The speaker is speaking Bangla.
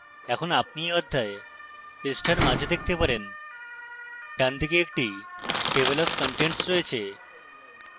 এখন আপনি you অধ্যায় পৃষ্ঠার মাঝখানে দেখতে পারেন